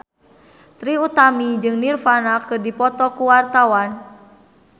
Trie Utami jeung Nirvana keur dipoto ku wartawan